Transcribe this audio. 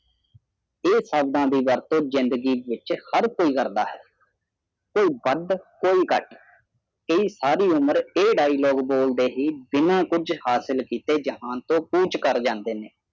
ਇਹ ਸ਼ਬਦਾ ਦੀ ਵਰਥੋ ਜਿੰਦਗੀ ਵਿਚ ਹਰ ਕੋਈ ਕਰਦਾ ਹੈ ਕੋਈ ਵਾਦ ਕੋਈ ਘਾਟ ਇਹੀ ਸਾਰੀ ਉਮਰ ਇਹ ਡਾਇਲੋਕ ਬੋਲਦੇ ਹੀ ਬਿਨਾ ਕੁਛ ਹਾਸਿਲ ਕੀਤੇ ਹੀ ਜਹਾਨ ਤੋਂ ਕੁਛ ਕਰ ਸਾਡੇ ਨੇ